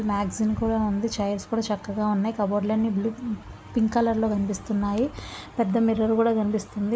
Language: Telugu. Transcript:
మ్యాగ్జిన్ కూడా ఉంది చైర్స్ కూడా చక్కగా ఉన్నాయి కబోర్డ్ లు అన్ని బ్ల్యూ పింక్ కలర్ లో కనిపిస్తున్నాయి పెద్ద మిర్రర్ కూడా కనిపిస్తుంది.